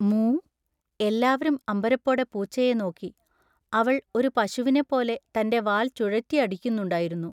മൂ? എല്ലാവരും അമ്പരപ്പോടെ പൂച്ചയെ നോക്കി. അവൾ ഒരു പശുവിനെപ്പോലെ തൻ്റെ വാൽ ചുഴറ്റിയടിക്കുന്നുണ്ടായിരുന്നു.